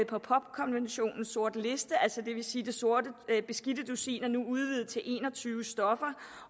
på pop konventionens sorte liste det beskidte dusin er altså nu udvidet til en og tyve stoffer